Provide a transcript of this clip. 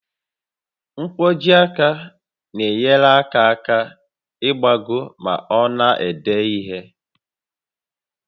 Nkwojiaka na-enyere aka aka ịgbagọ ma ọ na-ede ihe